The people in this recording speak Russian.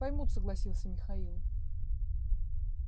поймут согласился михаил